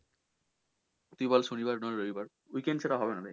তুই বল সনি বার না রবিবার weekend ছাড়া হবে না ভাই।